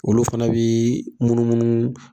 Olu fɛnɛ bii munumnu